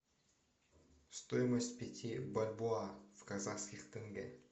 стоимость пяти бальбоа в казахских тенге